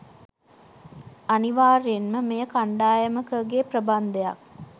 අනිවාර්යයෙන්ම මෙය කණ්ඩායමකගේ ප්‍රබන්ධයක්